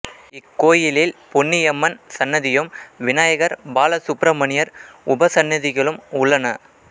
இக்கோயிலில் பொன்னியம்மன் சன்னதியும் விநாயகர் பால சுப்ரமணியர் உபசன்னதிகளும் உள்ளன